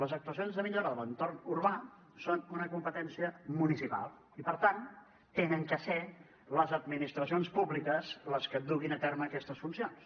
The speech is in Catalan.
les actuacions de millora de l’entorn urbà són una competència municipal i per tant han de ser les administracions públiques les que duguin a terme aquestes funcions